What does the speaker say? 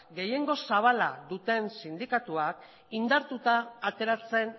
gehiengo zabala duten sindikatuak indartuta ateratzen